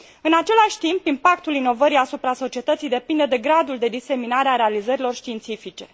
În același timp, impactul inovării asupra societății depinde de gradul de diseminare a realizărilor științifice.